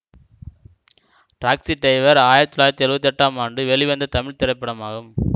taxi driver ஆயிரத்தி தொள்ளாயிரத்தி எழுவத்தி எட்டாம் ஆண்டு வெளிவந்த தமிழ் திரைப்படமாகும்